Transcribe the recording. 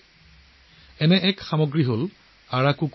তেনে এটা সামগ্ৰী হ'ল আৰাকু কফি